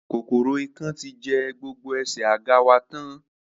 Kòkòrò ikán ti jẹ́ gbogbo ẹsẹ̀ àga wa tán